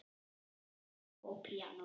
Verk fyrir selló og píanó.